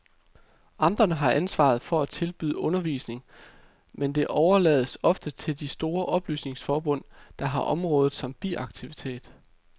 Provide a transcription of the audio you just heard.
Amterne har ansvaret for at tilbyde undervisning, men det overlades ofte til de store oplysningsforbund, der har området som biaktivitet.